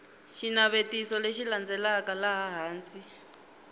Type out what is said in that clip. xinavetiso lexi landzelaka laha hansi